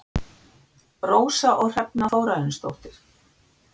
Rósa og Hrefna Þórarinsdóttir.